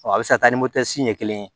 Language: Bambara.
a bɛ se ka taa ni ɲɛ kelen ye